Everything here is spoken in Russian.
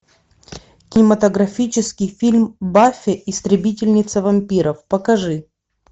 кинематографический фильм баффи истребительница вампиров покажи